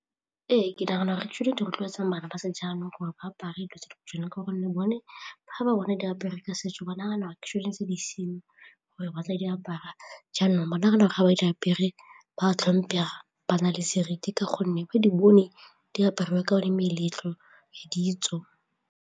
Ee, ke nagana gore tsone di rotloetsang bana ba sejaanong gore ba apare dilo tse tshwana ka gonne bone ga ba bone diapere ka setso ba nagana gore tshwanetse gore batla di apara jaanong ba nagana gore ga ba diapere ba tlhomphega, ba na le seriti ka gonne ba di bone diaparo ka one meletlo le ditso.